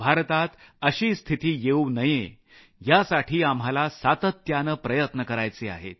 भारतात अशी स्थिती येऊ नये यासाठी आम्हाला सातत्यानं प्रयत्न करायचे आहेत